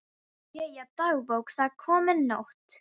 Jæja, dagbók, það er komin nótt.